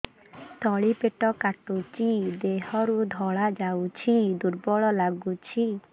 ତଳି ପେଟ କାଟୁଚି ଦେହରୁ ଧଳା ଯାଉଛି ଦୁର୍ବଳ ଲାଗୁଛି